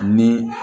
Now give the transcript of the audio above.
Ni